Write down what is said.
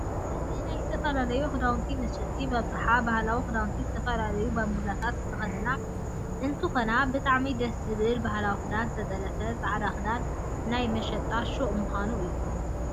እዚ ናይ ዝተፈላላዩ ክዳውንት መሽጢ ብኣብዛሓ ባህላዊ ክዳውንት ዝተፈላለያ ባንብላታት ዝተክዳና እንትከና ብጣዓሚ ደስ ዝብል ባህላዊ ክዳን ዝተጠለፍ ፃዕዳ ክዳን ናይ መሸጢ ሽቁ ምኳኑ እዩ።